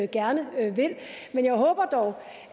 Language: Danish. gerne vil men jeg håber dog